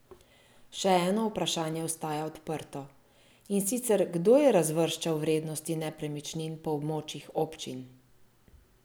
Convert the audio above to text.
Še eno vprašanje ostaja odprto, in sicer kdo je razvrščal vrednosti nepremičnin po območjih občin?